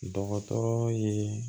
Dɔgɔtɔrɔ ye